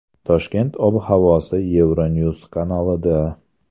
Toshkent ob-havosi Euronews kanalida.